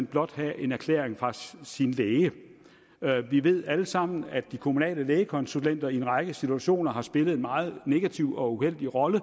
blot skal have en erklæring fra sin læge vi ved alle sammen at de kommunale lægekonsulenter i en række situationer har spillet en meget negativ og uheldig rolle